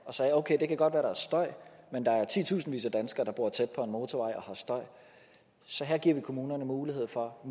og sagde okay det kan godt være der er støj men der er titusindvis af danskere der bor tæt på en motorvej og har støj så her giver vi kommunerne mulighed for at